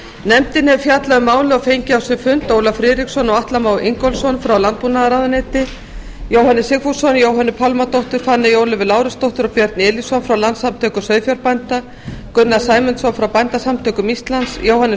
nefndin hefur fjallað um málið og fengið á sinn fund ólaf friðriksson og atla má ingólfsson frá landbúnaðarráðuneyti jóhannes sigfússon jóhönnu pálmadóttur fanneyju ólöfu lárusdóttur og björn elíson frá landssamtökum sauðfjárbænda gunnar sæmundsson frá bændasamtökum íslands jóhannes